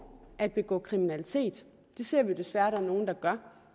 at begå kriminalitet det ser vi jo desværre at der er nogle der gør